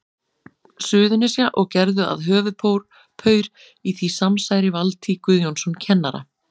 Suðurnesja, og gerðu að höfuðpaur í því samsæri Valtý Guðjónsson kennara.